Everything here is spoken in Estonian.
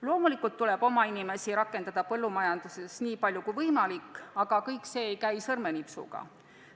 Loomulikult tuleb oma inimesi rakendada põllumajanduses nii palju kui võimalik, aga kõik see ei käi sõrmenipsuga.